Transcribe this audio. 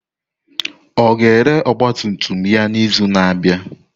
Ọ ga-ere ọgba tum tum ya n'izu na-abịa?